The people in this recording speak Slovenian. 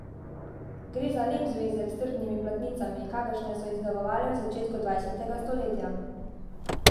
Gre za lep zvezek s trdimi platnicami, kakršne so izdelovali v začetku dvajsetega stoletja.